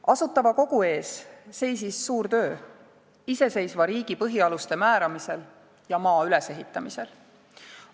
Asutava Kogu ees seisis suur töö iseseisva riigi põhialuste määramisel ja maa ülesehitamisel.